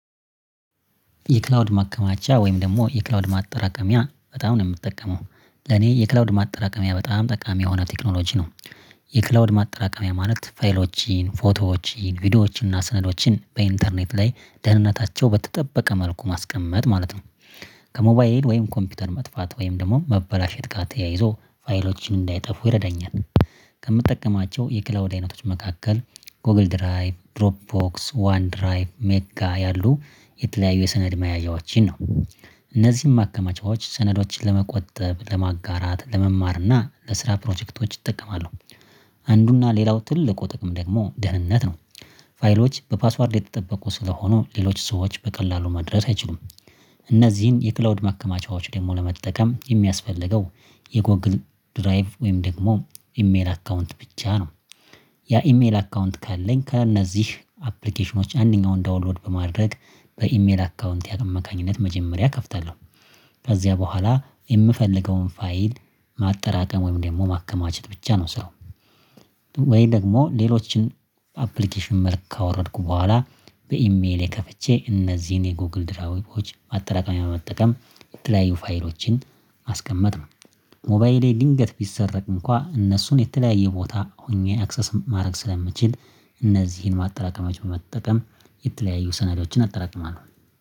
የክላውድ ማቀማጫ ወይም ደግሞ የክላውድ ማጠራቀሚያ በጣም ነው የምትጠቀመው። ለኔ የክላውድ ማጠራቀሚያ በጣም ጠቃሚ የሆነ ቴክኖሎጂ ነው። የክላውድ ማጠራቀሚያ ማለት ፋይሎችን፣ ፎቶዎችን፣ ቪዲዮዎችን፣ እና ስነዶችን በኢንተርኔት ላይ ደህንነታቸው በተጠበቀ መልኩ ማስቀመጥ ማለት ነው። ከሞባይል ወይም ኮምፒውተር መጥፋት ወይም ደግሞ መበላሸት ጋር ተያይዞ ፋይሎችን እንዳይጠፉ ይረዳኛል። ከምጠቀማቸው የክላውድ አይነቶች መካከል ጎግል ድራይቭ ድሮፕ ቦክስ ዋን ድራይቭ ሜጋ ያሉ የተለያዩ የሰነድ መያዣዎችን ነው፣ እነዚህም ማከማቻዎች ሰነዶችን ለመቆጠብ ለማጋራት ለመማር እና ለስራ ፕሮጀክቶች ይጠቀማሉ። አንዱና ሌላው ትልቁ ጥቅም ደግሞ ደህንነት ነው፣ ፋይሎች በፓስዋርድ የተጠበቁ ስለሆኑ ሌሎች ሰዎች በቀላሉ መድረስ አይችሉም። እነዚህን የክላውድ ማከማቻዎች ደግሞ ለመጠቀም የሚያስፈልገው የጎግል ድራይቭ ወይም ደግሞ ኢሜል አካውንት ብቻ ነው፣ ያ ኢሜል አካውንት ካለኝ ከእነዚህ አፕሊኬሽኖች አንደኛውን ዳውንሎድ በማድረግ በኢሜል አካውንት አማካኝነት መጀመሪያ እከፍታለሁ ከዚያ በኋላ የምፈልገውን ፋይል ማጠራቀም ወይም ደግሞ ማከማቸት ብቻ ነው ስራው። ወይ ደግሞ ሌሎችን አፕሊኬሽን መልክ ካወረድኩ በኋላ በኢሜሌ ከፍቼ እነዚህን የጎግል ድራውቮች ማጠራቀሚያ መጠቀም የተለያዩ ፋይሎችን ማስቀመጥ ነው። ሞባይሌ ድንገት ቢሰረቅ እንኳን እነሱን የተለያየ ቦታ ሆኜ አክሰስ ማድረግ ስለምችል እነዚህን ማጠራቀሚያዎች በመጠቀም የተለያዩ ሰነዶችን አጠራቅማለሁ።